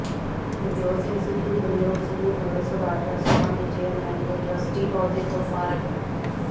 ਨਵਜੋਤ ਸਿੰਘ ਸਿੱਧੂ ਵੱਲੋਂ ਸਮੂਹ ਨਗਰ ਸੁਧਾਰ ਟਰੱਸਟਾਂ ਦੇ ਚੇਅਰਮੈਨ ਤੇ ਟਰੱਸਟੀ ਅਹੁਦੇ ਤੋਂ ਫਾਰਗ